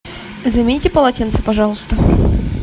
замените полотенце пожалуйста